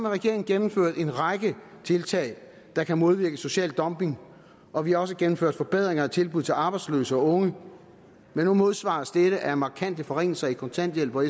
regeringen gennemført en række tiltag der kan modvirke social dumping og vi har også gennemført forbedringer af tilbuddet til arbejdsløse og unge men nu modsvares dette af markante forringelser i kontanthjælp og